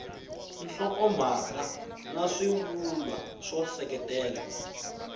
nhlokomhaka na swivulwa swo seketela